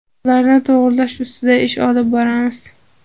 Ularni to‘g‘rilash ustida ish olib boramiz.